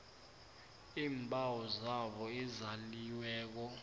iimbawo zabo ezaliweko